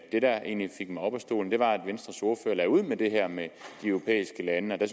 det der egentlig fik mig op af stolen var at venstres ordfører lagde ud med det her med de europæiske lande der